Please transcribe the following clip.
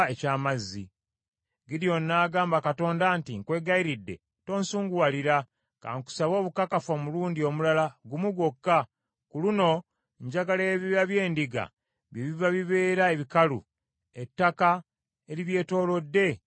Gidyoni n’agamba Katonda nti, “Nkwegayiridde tonsunguwalira, kankusabe obukakafu omulundi omulala gumu gwokka. Ku luno njagala ebyoya by’endiga bye biba bibeera ebikalu, ettaka eribyetoolodde litobe omusulo.”